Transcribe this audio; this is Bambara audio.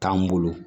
T'an bolo